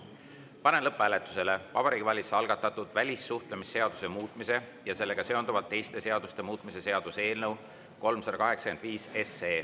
Panen lõpphääletusele Vabariigi Valitsuse algatatud välissuhtlemisseaduse muutmise ja sellega seonduvalt teiste seaduste muutmise seaduse eelnõu 385.